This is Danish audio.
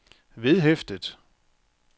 vedhæftet